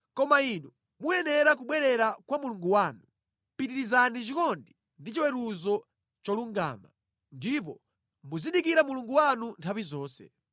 Koma inu muyenera kubwerera kwa Mulungu wanu; pitirizani chikondi ndi chiweruzo cholungama, ndipo muzidikira Mulungu wanu nthawi zonse.